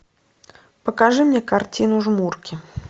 покажи мне картину жмурки